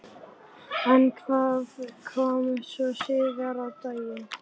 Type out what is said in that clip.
En hvað kom svo síðar á daginn?